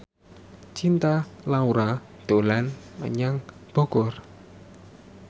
Cinta Laura dolan menyang Bogor